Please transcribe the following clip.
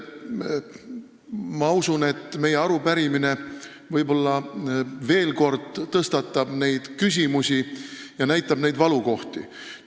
Ma usun, et meie arupärimine võib-olla veel kord tõstatab neid küsimusi ja näitab neid valukohti.